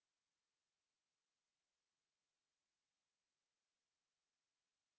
font size বাড়িয়ে ১৬ করুন